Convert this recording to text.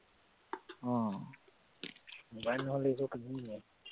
আহ mobile নহলে একো কামেই নাই